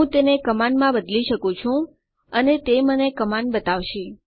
હું તેને કમાન્ડ માં બદલી શકું છું અને તે મને કમાન્ડ બતાવશે